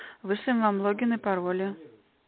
вышли нам логин и пароли